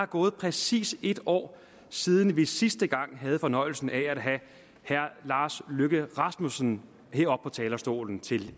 gået præcis en år siden vi sidste gang havde fornøjelsen af at have herre lars løkke rasmussen heroppe på talerstolen til